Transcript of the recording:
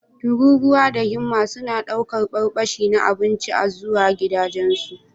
Tururuwa da himma suna ɗaukar barbashi na abinci a zuwa gidajensu.